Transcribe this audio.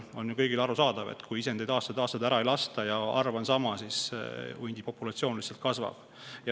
On ju kõigile arusaadav, et kui isendeid aastaid-aastaid ära ei lasta ja arv on sama, siis hundipopulatsioon kasvab.